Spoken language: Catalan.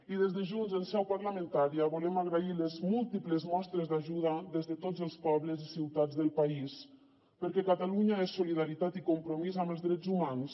i des de junts en seu parlamentària volem agrair les múltiples mostres d’ajuda des de tots els pobles i ciutats del país perquè catalunya és solidaritat i compromís amb els drets humans